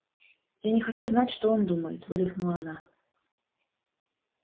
я не хочу знать что он думает выдохнула она